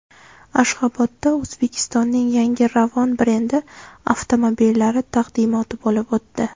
Ashxobodda O‘zbekistonning yangi Ravon brendi avtomobillari taqdimoti bo‘lib o‘tdi.